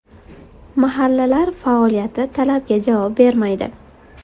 Mahallalar faoliyati talabga javob bermaydi.